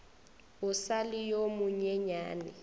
e sa le yo monyenyane